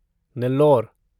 Nellore